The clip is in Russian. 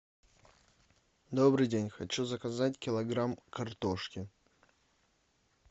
добрый день хочу заказать килограмм картошки